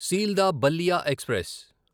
Sealdah Ballia express